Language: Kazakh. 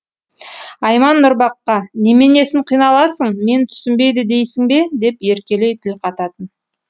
айман нұрбаққа неменесін қиналасың мен түсінбейді дейсің бе деп еркелей тіл қататын